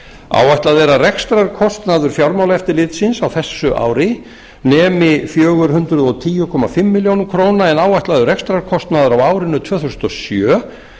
áætlað er að rekstrarkostnaður fjármálaeftirlitsins á þessu ári nemi fjögur hundruð og tíu komma fimm milljónum króna en áætlaður rekstrarkostnaður á árinu tvö þúsund og sjö